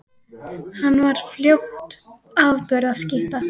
Hann varð fljótt afburða skytta.